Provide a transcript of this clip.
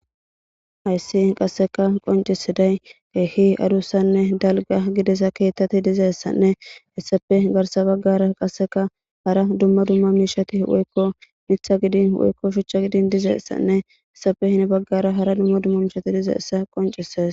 Hayssi qasseka qoncisiday geehi adussanne dalga gidisa keettati dizeessanne hessafe garsa baggara qasseka hara dumma dumma miishati woykko mitha gidin woykko shucha gidin dizeessanne hessafe hini baggara hara dumma dumma miishati dizeessa qoncises.